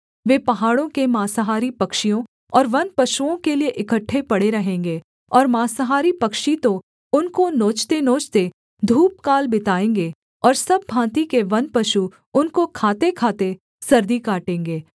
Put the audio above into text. वे पहाड़ों के माँसाहारी पक्षियों और वनपशुओं के लिये इकट्ठे पड़े रहेंगे और माँसाहारी पक्षी तो उनको नोचतेनोचते धूपकाल बिताएँगे और सब भाँति के वन पशु उनको खातेखाते सर्दी काटेंगे